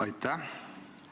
Aitäh!